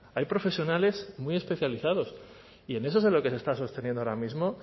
hay profesionales muy especializados y en eso es en lo que se está sosteniendo ahora mismo